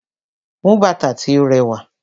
Mú bàtà tí o ràwá.